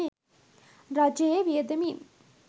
රජයේ වියදමින්